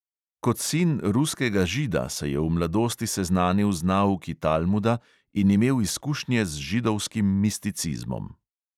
Kot sin ruskega žida se je v mladosti seznanil z nauki talmuda in imel izkušnje z židovskim misticizmom.